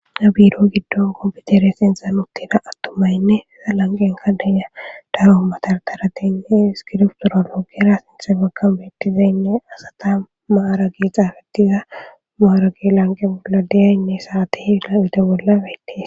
nabiro giddon goopetere sinxa nuttida attumaynne eza lanqen kadinya daro matartarateynne iskirftorologira sinthe bakka beettizaynne asata maaragi xaafetiza maaragi lanqen bolla deyaynne saati hiaite bollabeetes